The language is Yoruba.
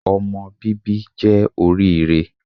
Ọmọ bíbí jẹ́ oríire